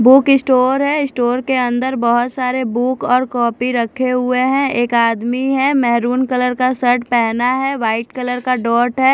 Book store है store के अंदर बहुत सारे बुक और कॉपी रखे हुए हैं एक आदमी है मैरून कलर का शर्ट पहना हुआ है व्हाइट कलर का डॉट है।